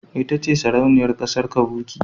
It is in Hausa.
Ita ce Sarauniyar kasar kavuki.